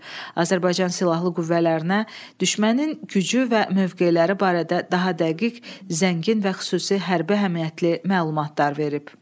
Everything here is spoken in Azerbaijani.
Azərbaycan Silahlı Qüvvələrinə düşmənin gücü və mövqeləri barədə daha dəqiq, zəngin və xüsusi hərbi əhəmiyyətli məlumatlar verib.